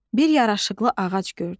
Bir yaraşıqlı ağac gördü.